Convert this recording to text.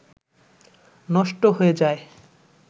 নষ্ট হয়ে যায়